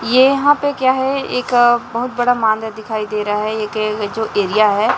ये यहाँ पे क्या है एक बहुत बड़ा दिखा दे रहा है एक ये जो एरिया है।